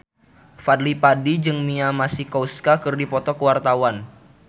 Fadly Padi jeung Mia Masikowska keur dipoto ku wartawan